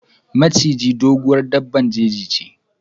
Maciji, doguwar daɓɓan jeji che.